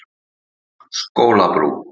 Skólabrú